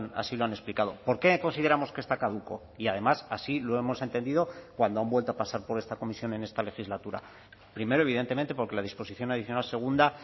así lo han explicado por qué consideramos que está caduco y además así lo hemos entendido cuando han vuelto a pasar por esta comisión en esta legislatura primero evidentemente porque la disposición adicional segunda